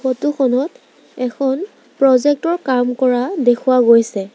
Photo খনত এখন project ৰ কাম কৰা দেখুওৱা গৈছে।